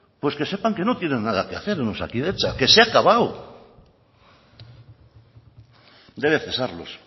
pues que sepan que no tienen nada que hacer en osakidetza que se ha acabado debe cesarlos